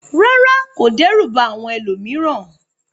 Rárá, kò dẹ́rù ba àwọn ẹlòmíràn.